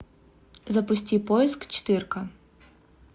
запусти поиск четырка